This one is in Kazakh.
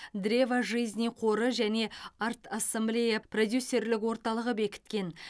древо жизни қоры және арт ассамблея продюсерлік орталығы бекіткен